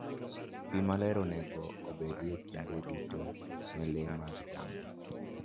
Pi maler onego obedie kinde duto ne le mag jamni.